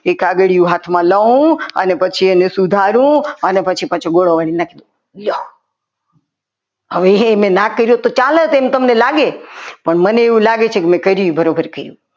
એક કાગળિયું હાથમાં લવ અને પછી એને સુધારુ અને પછી પાછું ઘોડો વાળીને નાખી દઉં લ્યો હવે એને ના કરી હોત તો ચાલો એવું તમને લાગ્યું લાગે પણ મને એવું લાગે છે કે મેં કર્યું એ બરાબર કર્યું.